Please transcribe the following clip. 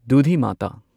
ꯗꯨꯙꯤꯃꯥꯇꯥ